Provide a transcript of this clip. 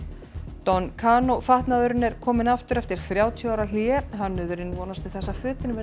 don fatnaðurinn er kominn aftur eftir þrjátíu ára hlé hönnuðurinn vonast til þess að fötin verði